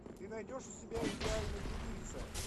ты найдешь у себя идеальный убийца